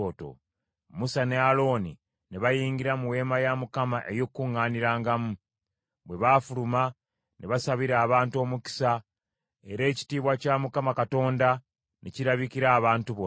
Musa ne Alooni ne bayingira mu Weema ey’Okukuŋŋaanirangamu. Bwe baafuluma ne basabira abantu omukisa, era ekitiibwa kya Mukama Katonda ne kirabikira abantu bonna.